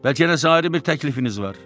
Bəlkə elə ayrı bir təklifiniz var?